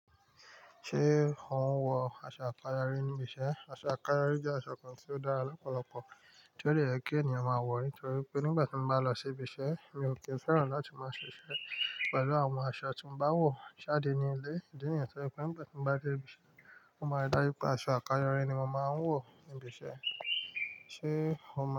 Ṣé ò ń wọ aṣọ àkáyọrí níbi iṣẹ́? Aṣọ àkáyọrí jẹ́ aṣọ kan tí ó dára lọ́pọ̀lọpọ̀ tí ó le jẹ́ kí ènìyàn máa wọ̀ nítorí pé nígbà tí mo bá lọ sí ibi iṣẹ́, mi ò kí ń fẹ́ràn láti máa ṣiṣẹ́ pẹ̀lú àwọn aṣọ tí mo bá ń wọ̀ jáde ní ilé nítorí pé nígbà tí mo bá dé ibi iṣẹ́, mo máa rí dájú pé aṣọ àkáyọrí ni mo máa ń wọ̀ níbi iṣẹ́. Ṣé o mọ̀?